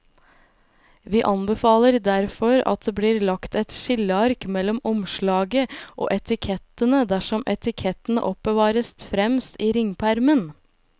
Vi anbefaler derfor at det blir lagt et skilleark mellom omslaget og etikettene dersom etikettene oppbevares fremst i ringpermen.